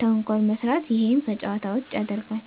ተንኮል መስራት እሄም ከጨዋታ ውጭ ያረጋል